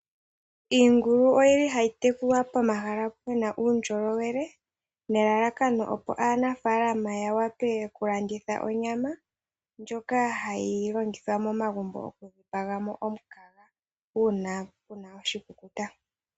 Iingulu oyi li hayi tekulwa pomahala pu na uundjolowele, nelalakano aanafaalama ya wape okulanditha onyama ndjoka hayi longithwa momagumbo oku dhipipaga mo omukaga uuna pu na oshikukuta.